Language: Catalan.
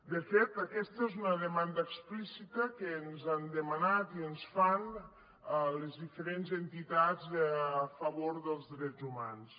de fet aquesta és una demanda explícita que ens han demanat i ens fan a les diferents entitats a favor dels drets humans